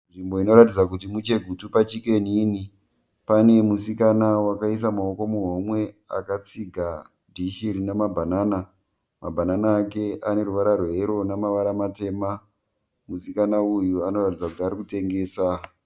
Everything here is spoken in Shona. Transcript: Nzvimbo inoratidza kuti muChegutu paChicken Inn. Pane musikana wakaisa maoko muhomwe akatsiga dhishi rine mabhanana. Mabhanana ake ane ruvara rweyero nemavara matema. Musikana uyu arikuratidza kuti ari kutengesa.